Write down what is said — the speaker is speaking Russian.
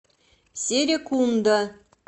серекунда